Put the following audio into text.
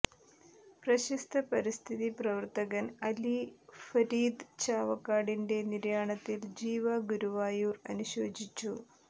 പ്രശസ്ത പരിസ്ഥിതി പ്രവർത്തകൻ അലി ഫരീദ് ചാവക്കാടിന്റെ നിര്യാണത്തിൽ ജീവ ഗുരുവായൂർ അനുശോചിച്ചു